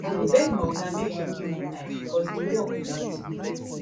i go beg my oga make im give me time because di work plenty